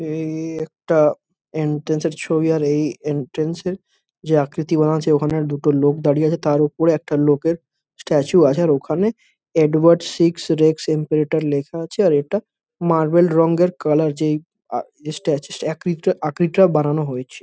এ-এ-ই একটা এন্ট্রান্স ছবি আর এই এন্ট্রান্স -এর যে আকৃতি বানা আছে ওখানের দুটো লোক দাঁড়িয়ে আছে। তার ওপরে একটা লোকের স্ট্যাচু আছে। আর ওখানে এডওয়ার্ড সিক্স রেক্স এম্পেরেটর লেখা আছে। আর এটা মার্বেল রঙের কালার যেই আ স্ট্যাচু আকৃতিটা আকৃতিটা বানানো হয়েছে।